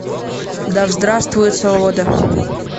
да здравствует свобода